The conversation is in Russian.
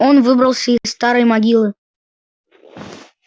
он выбрался из старой могилы